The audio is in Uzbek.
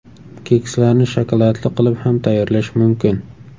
Kekslarni shokoladli qilib ham tayyorlash mumkin.